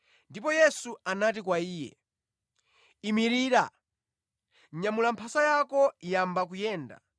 Ndipo Yesu anati kwa iye, “Imirira! Nyamula mphasa yako yamba kuyenda.”